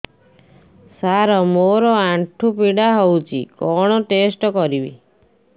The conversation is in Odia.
ସାର ମୋର ଆଣ୍ଠୁ ପୀଡା ହଉଚି କଣ ଟେଷ୍ଟ କରିବି